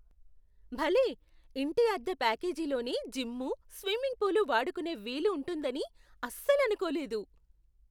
భలే! ఇంటి అద్దె ప్యాకేజీలోనే జిమ్ము, స్విమ్మింగ్ పూలు వాడుకునే వీలు ఉంటుందని అస్సలనుకోలేదు.